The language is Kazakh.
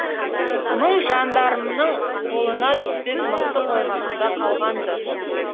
мың жандармның қолына түспес мықты қоймасында қалған ды